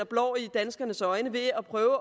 blår i danskernes øjne ved at prøve at